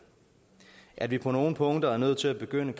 at vi på nogle punkter er nødt til at begynde